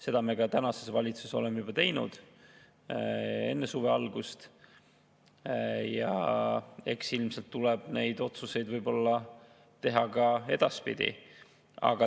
Seda me tänases valitsuses juba ka tegime enne suve algust ja ilmselt tuleb neid otsuseid teha ka edaspidi.